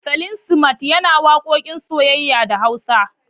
Salim smart yana waƙoƙin soyayya da Hausa.